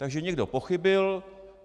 Takže někdo pochybil.